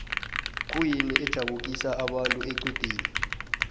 kuyini ejabukisa abantu equdeni